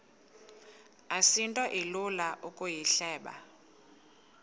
asinto ilula ukuyihleba